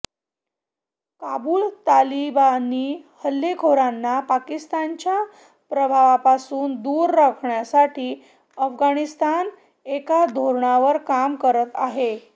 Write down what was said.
काबुल तालिबानी हल्लेखोरांना पाकिस्तानच्या प्रभावापासून दूर राखण्यासाठी अफगाणिस्तान एका धोरणावर काम करत आहे